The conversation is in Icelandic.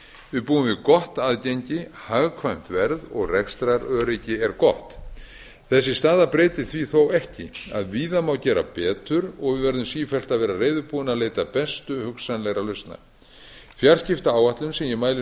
við búum við gott aðgengi hagkvæmt verð og rekstraröryggi er gott þessi staða breytir því þó ekki að víða má gera betur og við verðum sífellt að vera reiðubúin að leita bestu hugsanlegra lausna fjarskiptaáætlun sem ég mæli